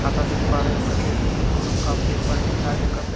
खाता देख पा रहे हैं उसका डेस्क में एक हम लोग कप देख पा रहे हैं जो चाय --